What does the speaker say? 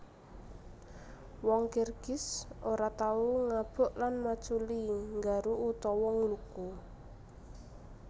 Wong Kirgiz ora tau ngabuk lan maculi nggaru utawa ngluku